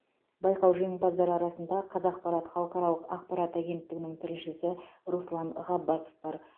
байқау жеңімпаздары арасында қазақпарат халықаралық ақпарат агенттігінің тілшісі руслан ғаббасов бар